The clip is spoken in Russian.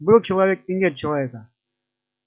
был человек и нет человека